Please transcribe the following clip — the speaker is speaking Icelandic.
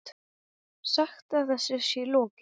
Sagt að þessu sé lokið.